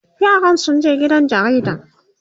yaran sun je gidan jaridan